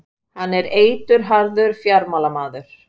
Hann er eitilharður fjármálamaður.